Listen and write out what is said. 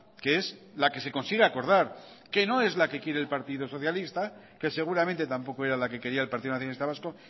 que es la que se consigue acordar que no es la que quiere el partido socialista que seguramente tampoco era la que quería el partido nacionalista vasco